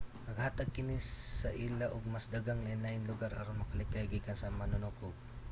naghatag kini sa ila og mas daghang lainlaing lugar aron makalikay gikan sa mga manunukob